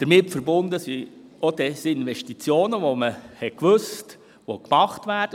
Damit verbunden sind auch Desinvestitionen, die an anderen Standorten gemacht werden.